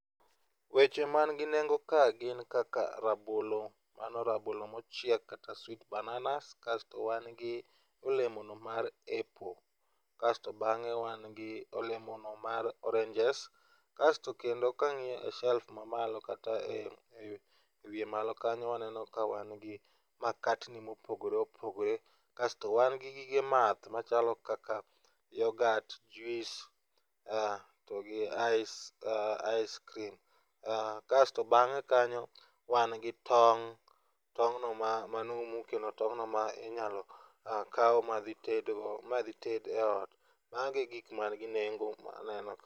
Weche man gi nengo ka gin kaka rabolo mano rabolo mochiek kata sweet bananas kasto wan gi olemo no mar apple kasto bang'e wan gi olemo no mar oranges kasto kendo kang'iyo e self mamalo kata ewiye malo kanyo waweneno ka wan gi makatni mopogore opogore kasto wan gig gige math machalo kaka yogat, juis to gi ice ice cream, kasto bang'e kanyo wan go tong' tong' no ma manumu kendo tong' no minyalo kawu madhi tedgo madhi ted e ot. Magi e gik man gi nengo maneno ka.